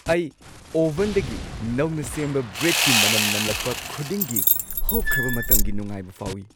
ꯑꯩ ꯑꯣꯚꯟꯗꯒꯤ ꯅꯧꯅ ꯁꯦꯝꯕ ꯕ꯭ꯔꯦꯗꯀꯤ ꯃꯅꯝ ꯅꯝꯂꯛꯄ ꯈꯨꯗꯤꯡꯒꯤ ꯍꯧꯈ꯭ꯔꯕ ꯃꯇꯝꯒꯤ ꯅꯨꯡꯉꯥꯏꯕ ꯐꯥꯎꯏ ꯫